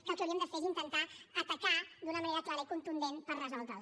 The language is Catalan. que el que hauríem de fer és intentar atacar la d’una manera clara i contundent per resoldre la